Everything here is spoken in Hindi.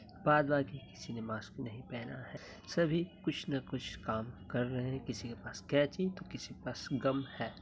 किसी ने मास्क नहीं पहना है सभी कुछ न कुछ काम कर रहे हैं किसी के पास कैंची तो किसी के पास गम ही।